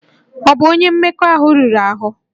Ọ bụ onye mmekọahụ riri ahụ?